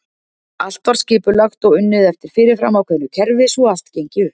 Allt var skipulagt og unnið eftir fyrirfram ákveðu kerfi svo allt gengi upp.